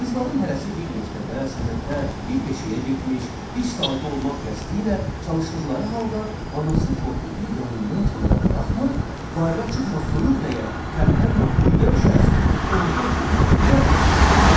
Qızların hərəsi bir məktəbə, sənətə, bir peşəyə getmiş, iş sahibi olmaq qəsdi ilə çalışdıqları halda, anası Tofiği yanından kənara buraxmır, bayıra çıxma, soyuq dəyər, tərpənmə, quyuya düşərsən, orda oturma, bura keç deyirdi.